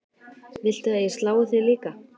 Viltu að ég slái þig líka?